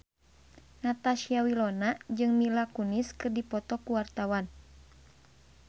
Natasha Wilona jeung Mila Kunis keur dipoto ku wartawan